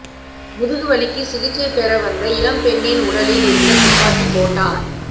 முதுகு வலிக்கு சிகிச்சை பெற வந்த இளம் பெண்ணின் உடலில் இருந்த துப்பாக்கி தோட்டா